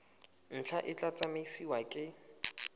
ntlha e tla tsamaisiwa ke